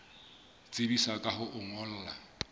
tsebisa ka ho o ngolla